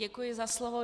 Děkuji za slovo.